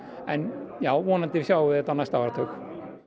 en já vonandi sjáum við þetta á næsta áratug